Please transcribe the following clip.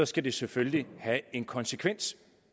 skal det selvfølgelig have en konsekvens